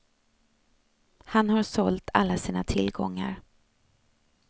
Han har sålt alla sina tillgångar.